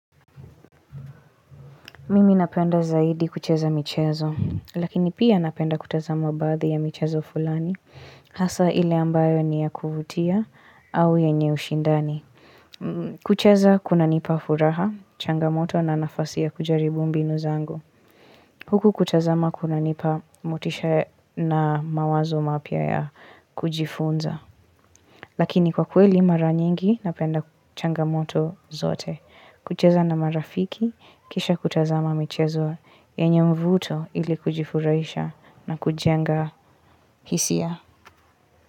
Mimi napenda zaidi kucheza michezo, lakini pia napenda kutazama baadhi ya michezo fulani, hasa ile ambayo ni ya kuvutia au yenye ushindani. Kucheza kunanipa furaha, changamoto na nafasi ya kujaribu mbinu zangu. Huku kutazama kuna nipa motisha na mawazo mapia ya kujifunza. Lakini kwa kweli mara nyingi napenda changamoto zote. Kucheza na marafiki, kisha kutazama michezo, yenye mvuto ili kujifurahisha na kujenga hisia.